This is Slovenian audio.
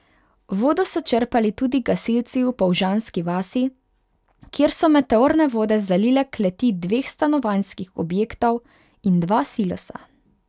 Vodo so črpali tudi gasilci v Polžanski vasi, kjer so meteorne vode zalile kleti dveh stanovanjskih objektov in dva silosa.